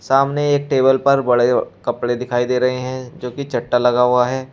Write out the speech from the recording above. सामने एक टेबल पर बड़े कपड़े दिखाई दे रहे हैं जो कि चटा लगा हुआ है।